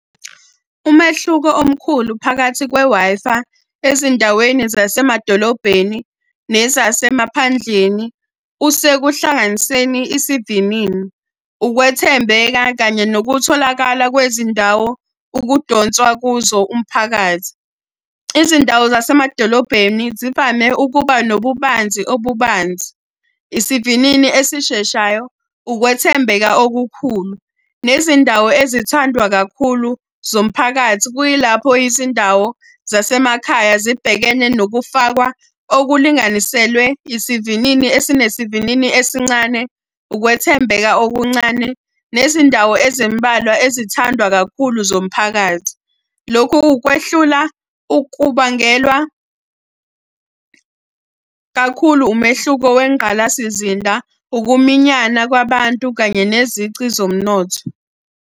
Umehluko omkhulu phakathi kwe-Wi-Fi ezindaweni zasemadolobheni nezasemaphandleni, kusekuhlanganiseni isivinini. Ukwethembeka kanye nokutholakala kwezindawo ukudonswa kuzo umphakathi. Izindawo zasemadolobheni zivame ukuba nobubanzi obubanzi, isivinini esisheshayo, ukwethembeka okukhulu, nezindawo ezithandwa kakhulu zomphakathi. Kuyilapho izindawo zasemakhaya zibhekene nokufakwa okulinganiselwe isivinini ezinesivinini esincane, ukwethembeka okuncane, nezindawo ezimbalwa ezithandwa kakhulu zomphakathi. Lokhu kwehlula ukubangelwa kakhulu umehluko wengqalasizinda, ukuminyana kwabantu kanye nezici zomnotho.